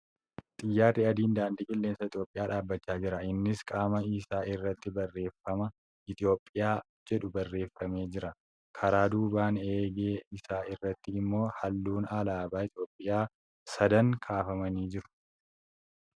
Xiyyaarri adiin daandii qilleensa Itiyoophiyaa dhaabbachaa jira. Innis Qaama isaa irratti barreeffama ' Itiyoophiyaa ' jedhu barreeffamee jira. Karaa duubaan eegee isaa irratti immoo halluun alaabaa Itiyoophiyaa sadan kaafamanii jiru.